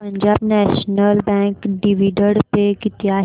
Punjab National Bank dividend pay किती आहे